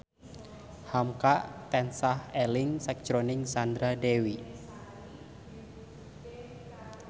hamka tansah eling sakjroning Sandra Dewi